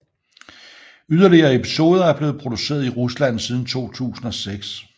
Yderligere episoder er blevet produceret i Rusland siden 2006